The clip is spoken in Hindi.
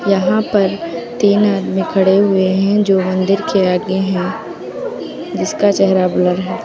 यहां पर तीन आदमी खड़े हुए हैं जो मंदिर के आगे हैं इसका चेहरा ब्लर है।